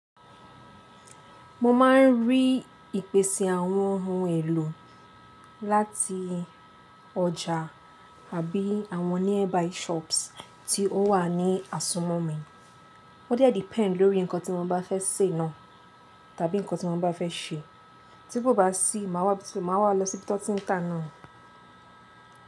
Mo ma n rí ìpèsè àwọn ohun èlò láti ọjà àbí àwọn nearby shops tí ó wà ní àsumọ̀ mi. Ó diẹ depend lórí nǹkan tí mo bá fẹ́ sè náà tàbí nǹkan tí mo bá fẹ́ ṣe. Tí kò bá sí, màá wá, màá wá lọ sí ibi ti won ti ta náà ni.